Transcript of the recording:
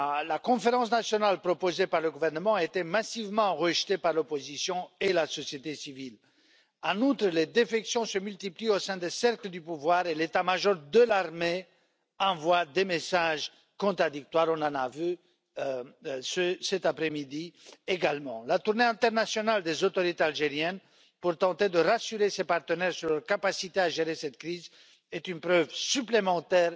La conférence nationale proposée par le gouvernement a été massivement rejetée par l'opposition et la société civile. En outre, les défections se multiplient au sein des cercles du pouvoir et l'état major de l'armée envoie des messages contradictoires, nous l'avons vu cet après midi également. La tournée internationale des autorités algériennes, pour tenter de rassurer leurs partenaires sur leur capacité à gérer cette crise, est une preuve supplémentaire